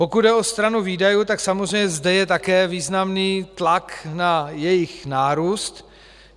Pokud jde o stranu výdajů, tak samozřejmě zde je také významný tlak na jejich nárůst.